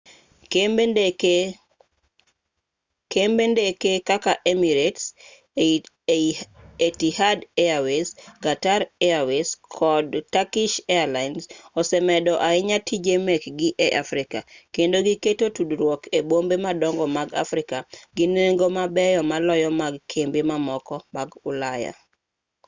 kembe ndeke kaka emirates etihad airways qatar airways kod turkish airines osemedo ahinya tije mekgi e africa kendo giketo tudruok e bombe madongo mag africa gi nengo mabeyo maloyo mag kembe mamoko mag ulaya